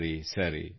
ಸರಿ ಸರಿ